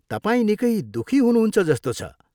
तपाईँ निकै दुःखी हुनुहुन्छ जस्तो छ।